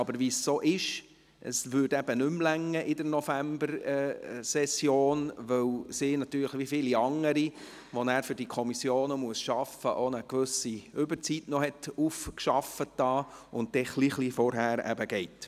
Wie es so ist, es würde in der Novembersession nicht mehr reichen, weil sie, wie viele andere, welche für die Kommissionen arbeiten, auch eine gewisse Überzeit aufgearbeitet hat und ein bisschen vorher geht.